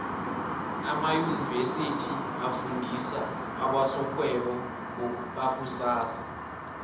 amaunivesithi afundisa abosorhwebo bakusasa